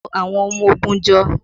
To àwọn ọmọ ogun jọ!